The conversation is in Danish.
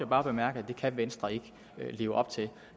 bare bemærke at venstre ikke kan leve op til